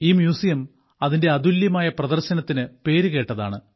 ഈ മ്യൂസിയം അതിന്റെ അതുല്യമായ പ്രദർശനത്തിന് പേരുകേട്ടതാണ്